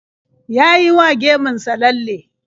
Ya yi wa gemun sa lalle.